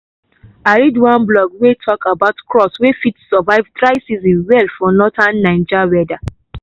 i read one blog wey talk about crops wey fit survive dry season well for northern naija weather